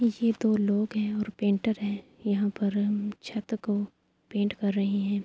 یہ دو لوگ ہے اور پینٹر ہے۔ یہاں پر چھٹ کو پینٹ کر رہے ہے۔